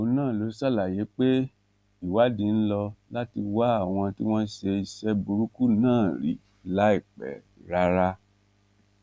òun náà ló ṣàlàyé pé ìwádìí ń lò láti wá àwọn tí wọn ṣe iṣẹ burúkú náà rí láìpẹ rárá